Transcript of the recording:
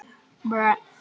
Sætt var það.